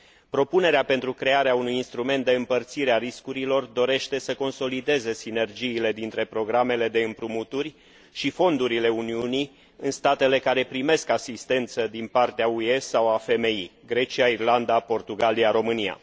Propunerea pentru crearea unui instrument de împărțire a riscurilor dorește să consolideze sinergiile dintre programele de împrumuturi și fondurile Uniunii în statele care primesc asistență din partea UE sau a FMI Grecia, Irlanda, Portugalia, România.